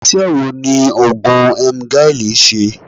Ise wo ni ogun Emgyl n se?